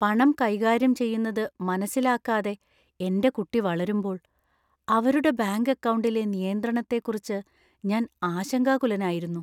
പണം കൈകാര്യം ചെയ്യുന്നത് മനസിലാക്കാതെ എന്‍റെ കുട്ടി വളരുമ്പോൾ അവരുടെ ബാങ്ക് അക്കൗണ്ടിലെ നിയന്ത്രണത്തെക്കുറിച്ച് ഞാൻ ആശങ്കാകുലനായിരുന്നു.